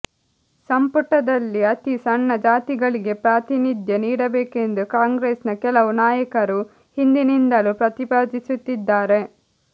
ಸಂಪುಟದಲ್ಲಿ ಅತಿ ಸಣ್ಣ ಜಾತಿಗಳಿಗೆ ಪ್ರಾತಿನಿಧ್ಯ ನೀಡಬೇಕೆಂದು ಕಾಂಗ್ರೆಸ್ನ ಕೆಲವು ನಾಯಕರು ಹಿಂದಿನಿಂದಲೂ ಪ್ರತಿಪಾದಿಸುತ್ತಿದ್ದಾರೆ